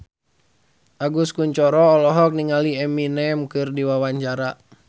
Agus Kuncoro olohok ningali Eminem keur diwawancara